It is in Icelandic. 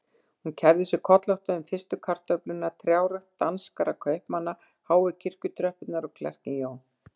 Hún kærði sig kollótta um fyrstu kartöfluna, trjárækt danskra kaupmanna, háu kirkjutröppurnar og klerkinn Jón